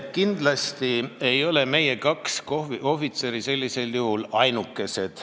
Kindlasti ei ole meie kaks ohvitseri sellisel juhul ainukesed.